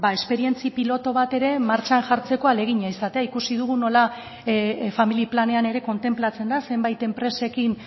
esperientzia pilotu bat ere martxan jartzeko ahalegina izatea ikusi dugu nola familia planean ere kontenplatzen da zenbait enpresekin